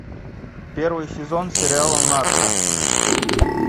первый сезон сериала нарко